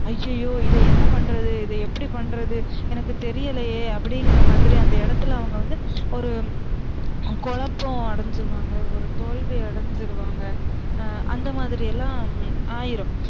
ஐயையோ இத என்ன பன்றது இத எப்டி பன்றது எனக்கு தெரியலையே அப்டிங்ற மாதிரி அந்த இடத்துல அவுங்க வந்து ஒரு குழப்பம் அடைஞ்சிருவாங்க ஒரு தோல்வி அடைஞ்சிருவாங்க அந்த மாதிரி எல்லாம் ஆயிரும்